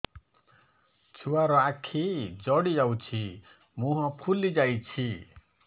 ଛୁଆର ଆଖି ଜଡ଼ି ଯାଉଛି ମୁହଁ ଫୁଲି ଯାଇଛି